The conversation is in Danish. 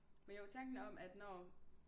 Men jo tanken om at når